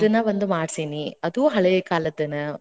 ಅದ್ನ ಒಂದ್ ಮಾಡ್ಸೇನಿ, ಅದೂ ಹಳೆ ಕಾಲ್ದನ.